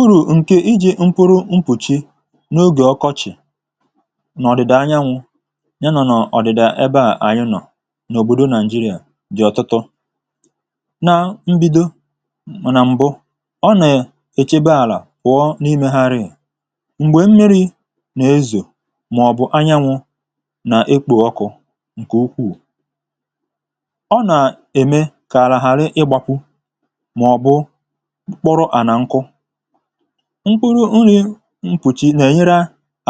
uru ǹkè iji mkpuru mpùchi n’ogè ọkọchị̀ nà ọ̀dị̀dà anyanwụ̇ ya nà ọ̀dị̀dà ebe à anyụnọ̀ n’òbòdo naị̀jịrịà dị̀ ọ̀tụtụ na mbido mànà m̀bụ ọ nà èchebe àlà wụ̀ọ n’imėharịà m̀gbè mmi̇ri̇ nà-ezò mà ọ̀ bụ̀ anyanwụ̇ nà ekpo ọkụ̇ ǹkè ukwuù ọ nà-ème kà àlàhàrị ịgbȧkwu mkụrụ nri̇ mkpùchi nà-ènyere